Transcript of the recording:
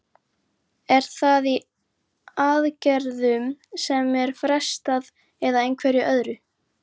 Er það í aðgerðum sem er frestað eða einhverju öðru?